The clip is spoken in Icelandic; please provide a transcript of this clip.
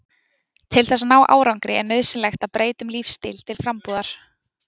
Til þess að ná árangri er nauðsynlegt að breyta um lífsstíl til frambúðar.